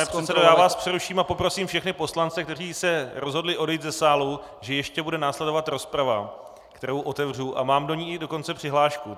Pane předsedo, já vás přeruším, a poprosím všechny poslance, kteří se rozhodli odejít ze sálu, že ještě bude následovat rozprava, kterou otevřu, a mám do ní dokonce i přihlášku.